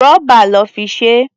Rọ́bà lọ́ fi ṣe é.